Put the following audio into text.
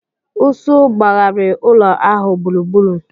Ụsụ gbaghari ụlọ ahụ gburugburu.